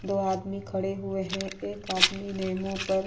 दो आदमी खड़े हुए हैं। एक आदमी ने मुंह पर --